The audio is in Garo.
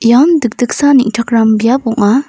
ian dikdiksa neng·takram biap ong·a.